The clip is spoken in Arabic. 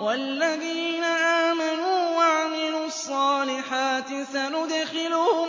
وَالَّذِينَ آمَنُوا وَعَمِلُوا الصَّالِحَاتِ سَنُدْخِلُهُمْ